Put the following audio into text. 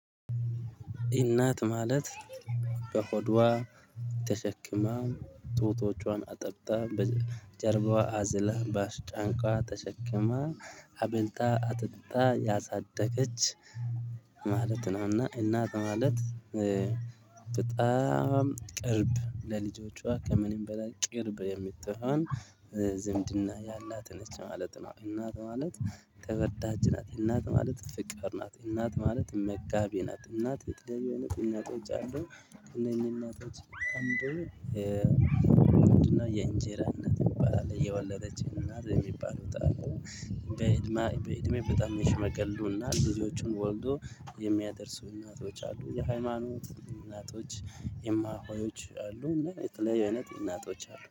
እናት ማለት በሆዷ ተሸክማ፣ ጡቷን አጥብታ፣ በጀርባዋ አዝላ፣ በአንቀልባ ተሸክማ፣ አብልታ፣ አጠጥታ ያሳደገች እናት ማለት በሆዷ ተሸክማ፣ ጡቷን አጥብታ፣ በጀርባዋ አዝላ፣ በአንቀልባ ተሸክማ፣ አብልታ፣ አጠጥታ ያሳደገች በጣም ለልጆቿ ከምንም በላይ ቅርብ የምትሆን፣ ዝምድና ያላት ነች ማለት ነው፤ እናት ማለት ተወዳጅ ናት፣ እናት ማለት ፍቅር ናት፣ እናት ማለት መጋቢ ናት፣ እናት የህይወት እናቶች አሉ፣ እኚህን እናቶች አንዱ ምንድነው፣ "የእንጀራ"፣ "የወለደችኝ እናት" የሚባሉት አሉ፤ በእድሜ በእድሜ በጣም የሸመገሉና ልጆችን ወልደው የሚያደርሱ እናቶች አሉ፤ የሃይማኖት እናቶች፣ እማሆዮች አሉ፤ እና የተለያዩ አይነት እናቶች አሉ።